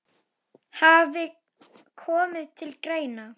hafi komið til greina.